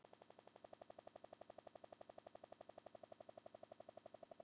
Eru Íslendingar jafn spenntir fyrir norðurljósum?